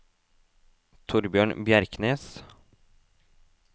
Thorbjørn Bjerknes